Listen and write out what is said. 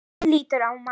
Hún lýtur mati.